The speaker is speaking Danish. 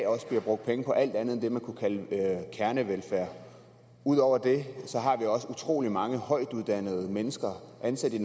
bliver brugt penge på alt muligt andet end det man kunne kalde kernevelfærd ud over det har vi også utrolig mange højtuddannede mennesker ansat i